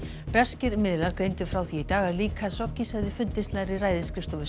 breskir miðlar greindu frá því í dag að lík Khashoggis hefði fundist nærri ræðisskrifstofu